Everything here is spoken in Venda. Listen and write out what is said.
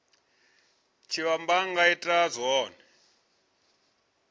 tshitshavha a nga ita zwone